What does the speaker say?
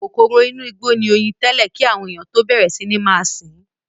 Kòkòrò inú igbó ni oyin tẹ́lẹ̀ kí àwọn ènìyàn tó bẹ̀rẹ̀ sí ní sìn ín.